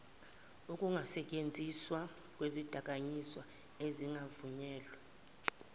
ukungasentshenziswa kwezidakamizwa ezingavunyelwe